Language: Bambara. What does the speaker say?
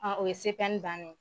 o ye bannen